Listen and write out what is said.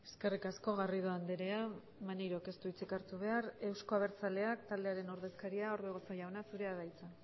eskerrik asko garrido andrea maneirok ez du hitzik hartu behar euzko abertzaleak taldearen ordezkaria orbegozo jauna zurea da hitza